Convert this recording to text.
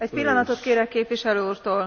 Egy pillanatot kérek képviselő úrtól!